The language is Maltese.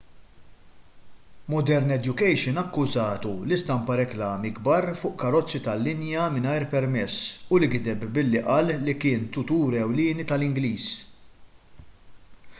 modern education akkużatu li stampa riklami kbar fuq karozzi tal-linja mingħajr permess u li gideb billi qal li kien tutur ewlieni tal-ingliż